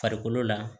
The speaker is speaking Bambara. Farikolo la